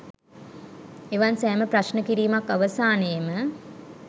එවන් සෑම ප්‍රශ්න කිරීමක් අවසානයේම